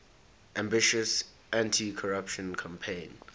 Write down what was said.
ambitious anticorruption campaign